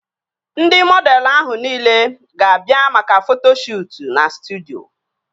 Ndị mọdelụ ahụ nile ga-abịa maka foto shuutu na studyo